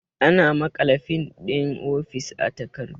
Ana maƙala fin ɗin ofis a takardu